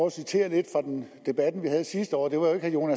at citere lidt fra den debat vi havde sidste år det var jo